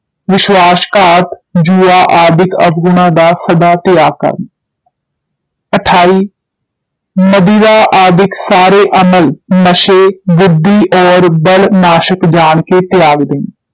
ਵਿਸ਼੍ਵਾਸਘਾਤ, ਜੂਆ ਆਦਿਕ ਅਵਗੁਣਾਂ ਦਾ ਸਦਾ ਤਿਆਗ ਕਰਨਾ ਅਠਾਈ ਮਦਿਰਾ ਆਦਿਕ ਸਾਰੇ ਅਮਲ ਨਸ਼ੇ ਬੁੱਧੀ ਔਰ ਬਲ ਨਾਸ਼ਕ ਜਾਣ ਕੇ ਤਿਆਗ ਦੇਣੇ